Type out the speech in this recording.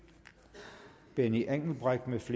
benny engelbrecht